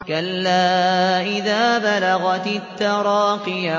كَلَّا إِذَا بَلَغَتِ التَّرَاقِيَ